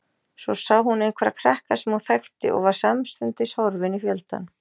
Svo sá hún einhverja krakka sem hún þekkti og var samstundis horfin í fjöldann.